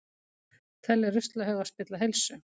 Telja ruslahauga spilla heilsu